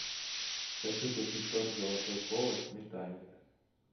хочу купить торт золотой колос сметанник